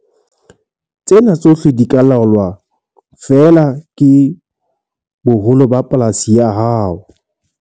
Tsena tsohle di ka laolwa feela ke boholo ba polasi ya hao.